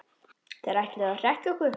Þeir ætluðu að hrekkja okkur